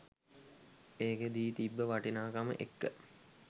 ඒක දී තිබ්බ වටිනාකම එක්ක